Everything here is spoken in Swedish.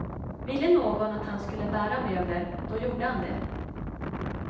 Ville någon att han skulle bära möbler, då gjorde han det.